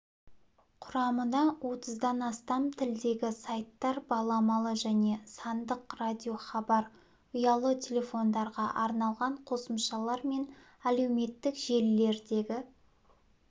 құрамына отыздан астам тілдегі сайттар баламалы және сандық радиохабар ұялы телефондарға арналған қосымшалар мен әлеуметтік желілердегі